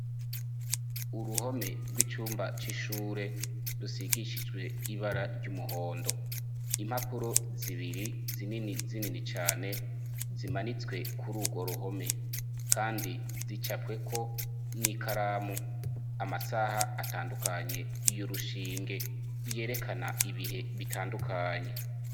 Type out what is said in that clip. Uruhome rw'icumba c'ishure rusigishijwe ibara ry'umuhondo impapuro zibiri zinini zinini cane zimanitswe kuri urwo ruhome, kandi zicapweko n'i karamu amasaha atandukanye iyo urushinge yerekane n ibihe bitandukanye.